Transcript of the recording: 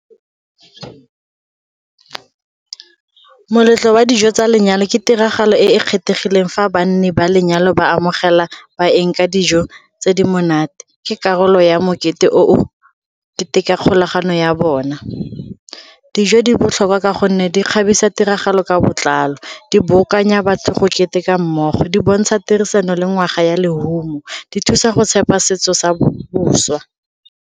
Moletlo wa dijo tsa lenyalo ke tiragalo e e kgethegileng fa banne ba lenyalo ba amogela ba eng ka dijo tse di monate, ke karolo ya mokete o diteka kgolagano ya bona. Dijo di botlhokwa ka gonne di kgabisa tiragalo ka botlalo, di batho go keteka mmogo, di bontsha tirisano le ngwaga ya lerumo, di thusa go tshepa setso sa boswa.